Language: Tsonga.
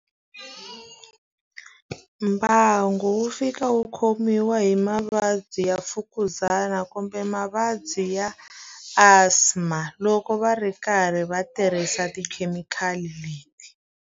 Mbangu wu fika wu khomiwa hi mavabyi ya mfukuzana kumbe mavabyi ya asthma, loko va ri karhi va tirhisa tikhemikhali leti.